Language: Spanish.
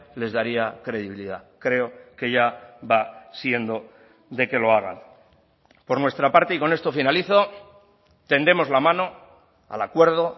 les daría credibilidad creo que ya va siendo de que lo hagan por nuestra parte y con esto finalizo tendemos la mano al acuerdo